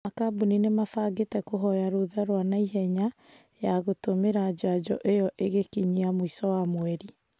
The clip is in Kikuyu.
Makambuni nĩmabangĩte kũhoya rũtha rwa naihenya ya gũtũmĩra njanjo ĩyo ĩgĩkinya mũico wa mweri